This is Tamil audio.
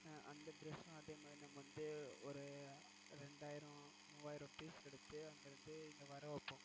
அந்த dress யும் அதே மாதிரி நம்ம வந்து ஒரு இரண்டாயிரம் மூவாயிரம் piece எடுத்து அங்க இருந்து இங்க வர வைப்போம்.